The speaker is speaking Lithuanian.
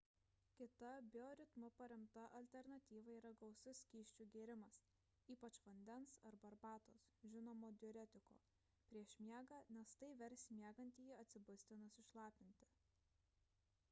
kita bioritmu paremta alternatyva yra gausus skysčių gėrimas ypač vandens arba arbatos žinomo diuretiko prieš miegą nes tai vers miegantįjį atsibusti nusišlapinti